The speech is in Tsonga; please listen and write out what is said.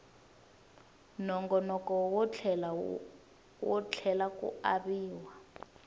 nongoloko wo tlhela ku aviwa